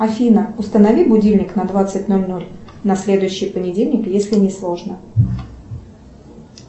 афина установи будильник на двадцать ноль ноль на следующий понедельник если не сложно